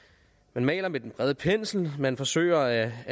man maler med den brede pensel at man forsøger